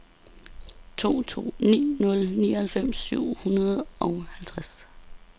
to to ni nul nioghalvfems syv hundrede og halvtreds